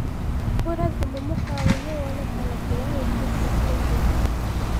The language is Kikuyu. hũra thĩmũ mũkawaĩni wone kana kĩria wĩtĩĩte kĩ njĩra